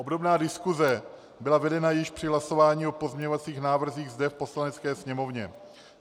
Obdobná diskuse byla vedena již při hlasování o pozměňovacích návrzích zde v Poslanecké sněmovně.